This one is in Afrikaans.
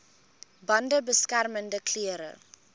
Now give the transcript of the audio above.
bande beskermende klere